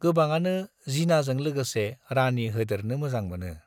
गोबाङानो जिनाजों लागोसे 'राणी' होदेरनो मोजां मोनो ।